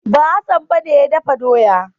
Ba, Hassan ba ne ya dafa doya.